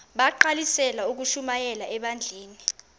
bagqalisele ukushumayela ebandleni